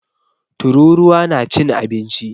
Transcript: Tururuwa na cin abinci.